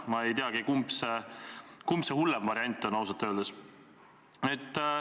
Ma ei teagi, kumb hullem variant on, ausalt öeldes.